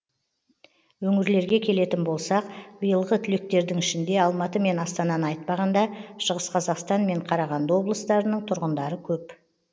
өңірлерге келетін болсақ биылғы түлектердің ішінде алматы мен астананы айтпағанда шығыс қазақстан мен қарағанды облыстарының тұрғындары көп